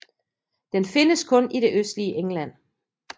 Den findes kun i det østligste England